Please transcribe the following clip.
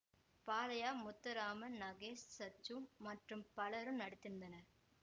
பாலையா முத்துராமன் நாகேஷ் சச்சு மற்றும் பலரும் நடித்திருந்தனர்